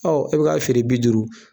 e bi ka feere bi duuru